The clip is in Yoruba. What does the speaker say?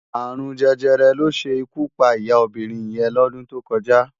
Arún Jẹjẹrẹ ló ṣé ikú pá iyá óbirin yèn lòdún tó kòjá